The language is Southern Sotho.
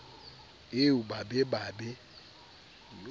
eo ba be ba be